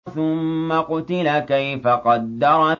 ثُمَّ قُتِلَ كَيْفَ قَدَّرَ